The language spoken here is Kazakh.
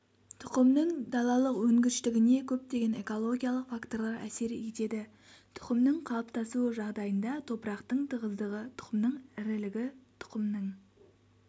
тұқымның далалық өнгіштігіне көптеген экологиялық факторлар әсер етеді тұқымның қалыптасуы жағдайында топырақтың тығыздығы тұқымның ірілігі тұқымның